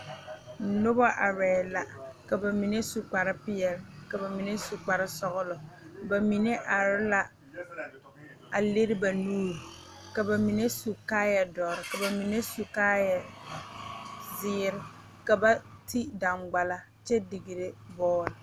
Nobɔ arɛɛ la ka ba mine su kparepeɛle ka ba mine kparesɔglɔ ba mine are la a lire ba nuure ka ba mine su kaayɛ dɔre ka ba mine meŋ su kaayɛ zeere ka ba ti daŋgballa kyɛ digre bɔɔl.